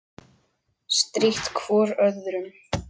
Strítt hvor öðrum.